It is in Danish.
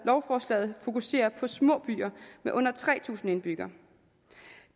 lovforslaget fokuserer på små byer med under tre tusind indbyggere